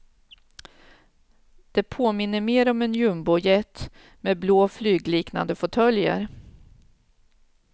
Det påminner mer om en jumbojet, med blå flygliknande fåtöljer.